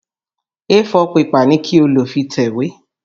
A4 pẹpà ni kí o lò fi tẹ̀wé!